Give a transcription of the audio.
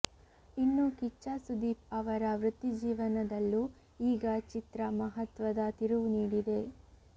ಇನ್ನು ಕಿಚ್ಚ ಸುದೀಪ್ ಅವರ ವೃತ್ತಿಜೀವನದಲ್ಲೂ ಈಗ ಚಿತ್ರ ಮಹತ್ವದ ತಿರುವು ನೀಡಿದೆ